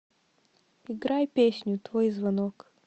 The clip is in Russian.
играй песню твой звонок